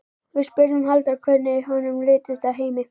Við spurðum Halldór hvernig honum litist á Heimi?